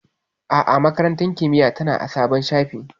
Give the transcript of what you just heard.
A'a, Makarantar Kimiyya tana a sabon shafin.